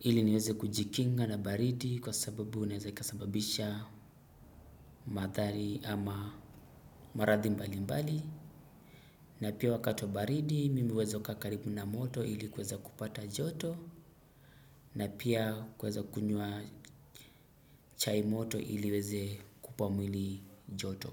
ili niweze kujikinga na baridi kwa sababu inaweza ikasababisha madhari ama maradhi mbali mbali na pia wakati wa baridi mimi huweza kakaa karibu na moto ili kuweza kupata joto na pia kuweza kunywa chai moto ili iweze kukupa mwili joto.